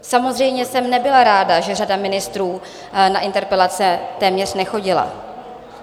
Samozřejmě jsem nebyla ráda, že řada ministrů na interpelace téměř nechodila.